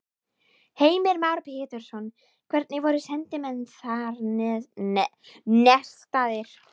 Heimir Már Pétursson: Hvernig voru sendimenn þar nestaðir?